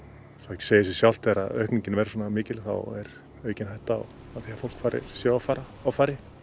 segir sig sjálft að þegar aukningin verður svona mikil þá er aukin hætta á því að fólk fari sér offari offari